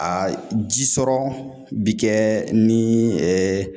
Aa jisɔrɔ bi kɛ ni